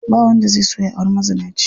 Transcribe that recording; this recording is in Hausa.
Ba wanda zai so ya auri mazinaci.